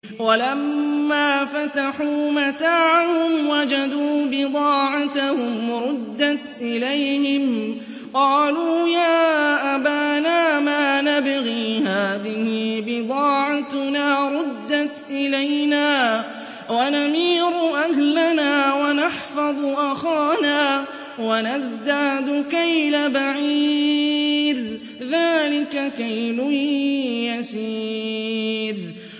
وَلَمَّا فَتَحُوا مَتَاعَهُمْ وَجَدُوا بِضَاعَتَهُمْ رُدَّتْ إِلَيْهِمْ ۖ قَالُوا يَا أَبَانَا مَا نَبْغِي ۖ هَٰذِهِ بِضَاعَتُنَا رُدَّتْ إِلَيْنَا ۖ وَنَمِيرُ أَهْلَنَا وَنَحْفَظُ أَخَانَا وَنَزْدَادُ كَيْلَ بَعِيرٍ ۖ ذَٰلِكَ كَيْلٌ يَسِيرٌ